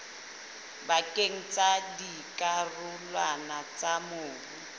pakeng tsa dikarolwana tsa mobu